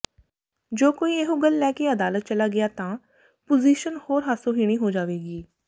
ਜੇ ਕੋਈ ਇਹੋ ਗੱਲ ਲੈ ਕੇ ਅਦਾਲਤ ਚਲਾ ਗਿਆ ਤਾਂ ਪੁਜ਼ੀਸ਼ਨ ਹੋਰ ਹਾਸੋਹੀਣੀ ਹੋ ਜਾਵੇਗੀ